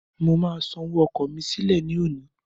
Mo máa san owó ọkọ̀ mí sílẹ̀ ní òní.